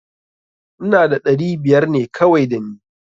Ina da ɗari biyar ne kawai da ni.